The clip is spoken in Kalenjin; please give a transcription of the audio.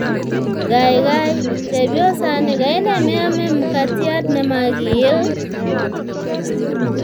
Gaigai, chepyosani kaine meame mkatiat nemakiil?